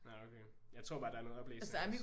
Nå okay. Jeg tror bare der er noget oplæsning også